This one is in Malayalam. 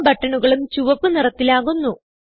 എല്ലാ ബട്ടണുകളും ചുവപ്പ് നിറത്തിലാകുന്നു